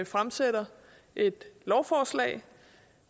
fremsætter et lovforslag